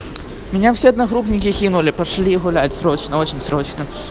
меня все одногруппники кинули пошли гулять срочно очень срочно